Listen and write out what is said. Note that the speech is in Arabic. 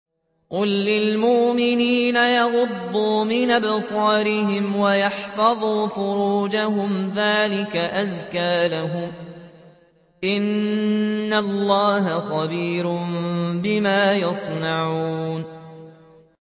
قُل لِّلْمُؤْمِنِينَ يَغُضُّوا مِنْ أَبْصَارِهِمْ وَيَحْفَظُوا فُرُوجَهُمْ ۚ ذَٰلِكَ أَزْكَىٰ لَهُمْ ۗ إِنَّ اللَّهَ خَبِيرٌ بِمَا يَصْنَعُونَ